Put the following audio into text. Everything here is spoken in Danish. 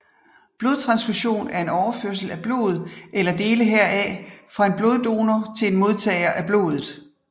Blodtransfusion er overførsel af blod eller dele heraf fra en bloddonor til en modtager af blodet